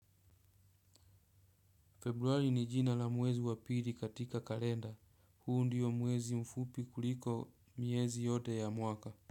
Februari ni jina la muwezi wapiri katika kalenda, huu ndiyo muwezi mfupi kuliko miezi yote ya mwaka.